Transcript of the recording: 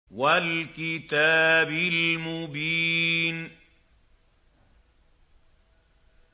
وَالْكِتَابِ الْمُبِينِ